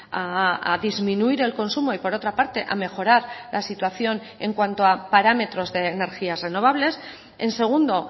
a disminuir el consumo y por otra parte a mejorar la situación en cuanto a parámetros de energías renovables en segundo